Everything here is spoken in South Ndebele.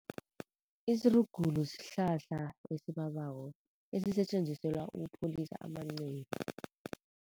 Isirugulu sihlahla esibabako esisetjenziselwa ukupholisa amanceba.